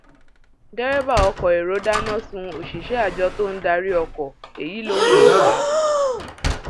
derébà ọkọ èrò dáná sun òṣìṣẹ àjọ tó ń darí ọkọ èyí lóhun tó fà á